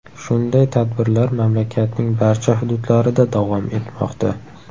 Shunday tadbirlar mamlakatning barcha hududlarida davom etmoqda.